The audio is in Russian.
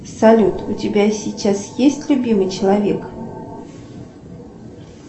салют у тебя сейчас есть любимый человек